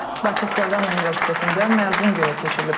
Bakı Slavyan Universitetində məzun günü keçirilib.